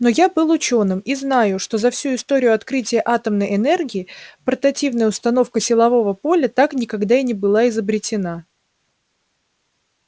но я был учёным и знаю что за всю историю открытия атомной энергии портативная установка силового поля так никогда и не была изобретена